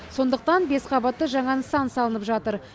сондықтан бесқабатты жаңа нысан салынып жатыр